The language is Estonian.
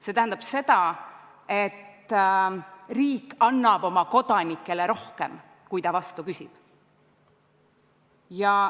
See tähendab, et riik annab oma kodanikele rohkem, kui ta vastu küsib.